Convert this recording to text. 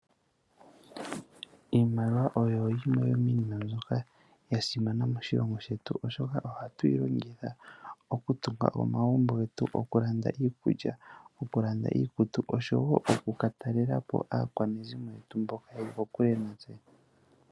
Iimaliwa oyo yimwe yomiinima mbyoka ya simana moshilongo shetu, oshoka oha tu yi longitha oku tunga omagumbo getu, oku landa iikulya, oku landa iikutu osho wo oku ka ta talela po aakwanezimo yetu mboka ye li kokule natse.